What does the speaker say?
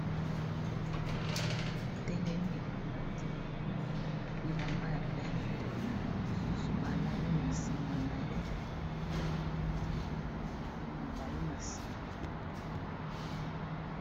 Moto atelemi alati bilamba ya pembe ba misusu balali na nsima na ye na matiti mingi ya milai na nsima.